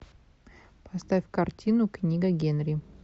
поставь картину книга генри